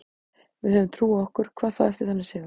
Við höfum trú á okkur, hvað þá eftir þennan sigur.